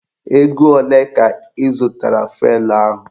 Ego olee ka ị zụtara fụelụ ahụ?